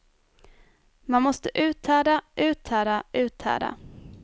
Man måste uthärda, uthärda, uthärda.